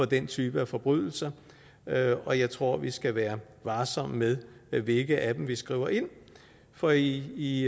den type af forbrydelser og jeg tror vi skal være varsomme med hvilke af dem vi skriver ind for i